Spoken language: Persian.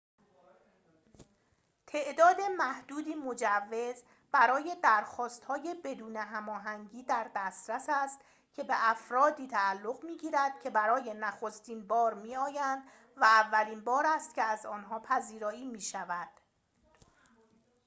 تعداد محدودی مجوز برای درخواست‌های بدون هماهنگی در دسترس است که به افردی تعلق می‌گیرد که برای نخستین بار می‌آیند و اولین بار است که از آنها پذیرایی می‌شود